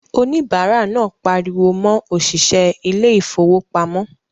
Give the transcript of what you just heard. Òníbárà náà pariwo mọ òṣìṣẹ́ ilé ìfowópamọ́